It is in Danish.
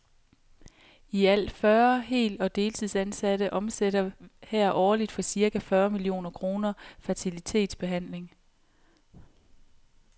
I alt fyrre hel og deltidsansatte omsætter her årligt for cirka fyrre millioner kroner fertilitetsbehandling.